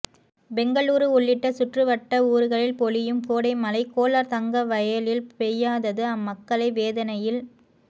பெங்களூரு உள்ளிட்ட சுற்று வட்ட ஊர்களில் பொழியும் கோடை மழை கோலார் தங்கவயலில் பெய்யாதது அம்மக்களை வேதனையில்